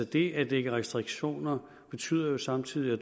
det at lægge restriktioner betyder jo samtidig at